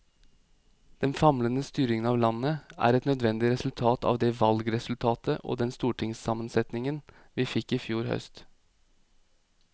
Den famlende styringen av landet er et nødvendig resultat av det valgresultat og den stortingssammensetning vi fikk i fjor høst.